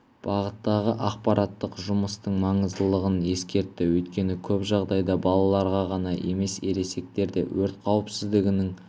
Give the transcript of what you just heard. бағыттағы ақпараттық жұмыстың маңыздылығын ескертті өйткені көп жағдайда балаларға ғана емес ересектер де өрт қауіпсіздігінің